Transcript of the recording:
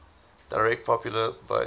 direct popular vote